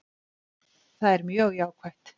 Það er mjög jákvætt